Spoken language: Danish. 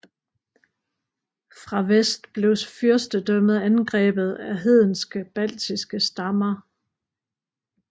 Fra vest blev fyrstedømmet angrebet af hedenske baltiske stammer